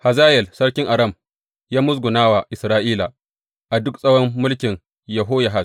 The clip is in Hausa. Hazayel sarkin Aram ya musguna wa Isra’ila a duk tsawon mulkin Yehoyahaz.